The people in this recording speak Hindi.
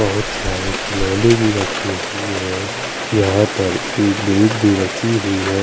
बोहोत सारे खिलोने भी रखे हुए है यहाँ पर एक बेस भी रखी हुई है।